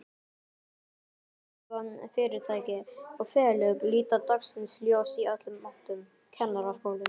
Þjóðþrifafyrirtæki og félög líta dagsins ljós í öllum áttum, Kennaraskólinn